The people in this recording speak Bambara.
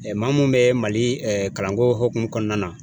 maa mun bɛ Mali kalanko hukumu kɔnɔna na.